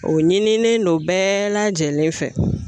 O ɲinilen don bɛɛ lajɛlen fɛ